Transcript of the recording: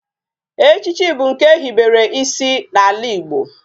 Echichi bu nke ehibere isi na ala Igbo